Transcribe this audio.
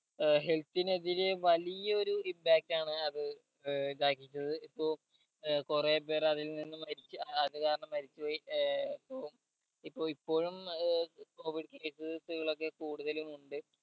ഏർ health നെതിരെ വലിയൊരു impact ആണ് അത് ഏർ ഇതാക്കിയിട്ടില്ലത് ഇപ്പൊ ഏർ കൊറേ പേര് അതിൽ നിന്നും മരിച്ച് അത് കാരണം മരിച്ച് പോയി ഏർ ഇപ്പം ഇപ്പൊ ഇപ്പോഴും ഏർ covid case case കളൊക്കെ കൂടുതലും ഉണ്ട്